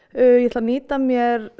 ég ætla að nýta mér